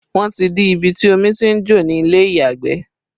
Wọn ti dí ibi tí omi tí ń jò ni ilé ìyàgbẹ̀